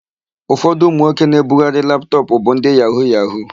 Ụfọdụ ụmụnwoke na-ebugharị laptọpụ bụ ndị yahu-yahu.